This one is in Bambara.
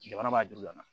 Jamana b'a duru la